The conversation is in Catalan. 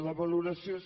la valoració és